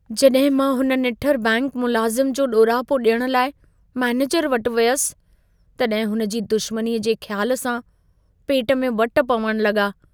जॾहिं मां हुन निठर बैंकि मुलाज़िम जो ॾोरापो ॾियण लाइ मैनेजर वटि वियसि, तॾहिं हुनजी दुशमनीअ जे ख़्याल सां, पेट में वट पवण लॻा।